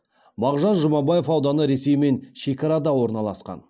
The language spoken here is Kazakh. мағжан жұмабаев ауданы ресеймен шекарада орналасқан